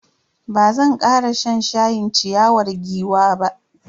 Bazan kara shan shayin ciyawar giwa ba.